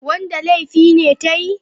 Wanda laifi ne ta yi?